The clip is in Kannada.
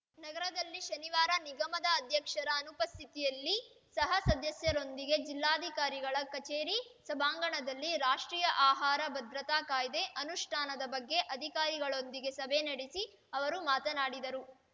ನಗರದಲ್ಲಿ ಶನಿವಾರ ನಿಗಮದ ಅಧ್ಯಕ್ಷರ ಅನುಪಸ್ಥಿಯಲ್ಲಿ ಸಹ ಸದಸ್ಯರೊಂದಿಗೆ ಜಿಲ್ಲಾಧಿಕಾರಿಗಳ ಕಚೇರಿ ಸಭಾಂಗಣದಲ್ಲಿ ರಾಷ್ಟ್ರೀಯ ಆಹಾರ ಭದ್ರತಾ ಕಾಯ್ದೆ ಅನುಷ್ಠಾನದ ಬಗ್ಗೆ ಅಧಿಕಾರಿಗಳೊಂದಿಗೆ ಸಭೆ ನಡೆಸಿ ಅವರು ಮಾತನಾಡಿದರು